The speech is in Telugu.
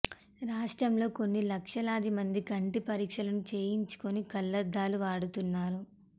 రాష్ట్రంలో కొన్ని లక్షలాది మంది కంటి పరీక్షలు చేయించుకొని కళ్లద్దాలు వాడుతున్నారు